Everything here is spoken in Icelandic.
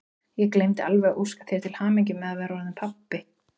Ég gleymdi alveg að óska þér til hamingju með að vera orðinn pabbi!